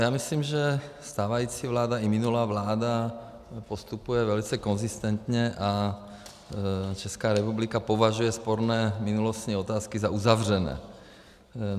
Já myslím, že stávající vláda i minulá vláda postupuje velice konzistentně a Česká republika považuje sporné minulostní otázky za uzavřené.